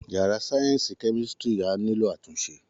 Yàrá sáyẹ́ǹsì kẹ́mísírì á nílò àtúnṣe